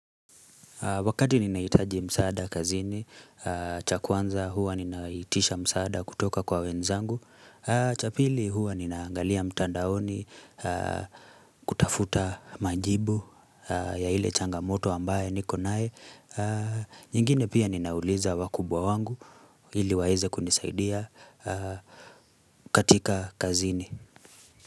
Wakati ninaitaji msaada kazini, cha kwanza huwa ninaitisha msaada kutoka kwa wenzangu cha pili huwa ninaangalia mtandaoni kutafuta majibu ya ile changamoto ambaye nikonaye nyingine pia ninauliza wakubwa wangu ili waeze kunisaidia katika kazini.